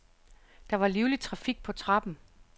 Der var livlig trafik på trappen.